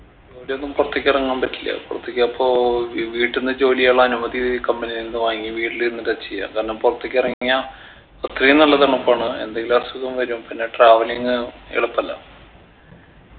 ജോലിയൊന്നും പൊർത്തെക്ക് എറങ്ങാൻ പറ്റില്ല പൊർത്തെക്ക് അപ്പോ ഈ വീട്ടിന്ന് ജോലികൾ അനുമതി company കളിൽന്ന് വാങ്ങി വീട്ടിലിരുന്നിട്ടാ ചെയ്യാ കാരണം പൊറത്തേക്ക് എറങ്ങിയ അത്രയും നല്ല തണുപ്പാണ് എന്തെങ്കിലും അസുഖം വരും പിന്നെ travelling എളുപ്പല്ല